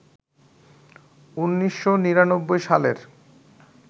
১৯৯৯ সালের